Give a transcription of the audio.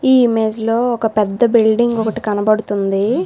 ఈ ఇమేజ్ లో ఒక పెద్ద బిల్డింగ్ ఒకటి కనబడుతుంది.